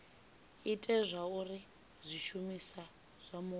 ite zwauri zwishumiswa zwa mupo